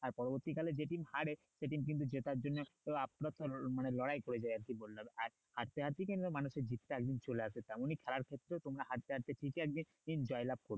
আর পরবর্তী কালে যেদিন হারে সেদিন কিন্তু জেতার জন্য মানে লড়াই করে যাই আরকি বললাম আর হারতে হারতে কিন্তু মানুষের জিতটা একদিন চলে আসে তেমনই খেলার ক্ষেত্রেও তোমরা হারতে হারতে ঠিকই একদিন জয়লাভ করবে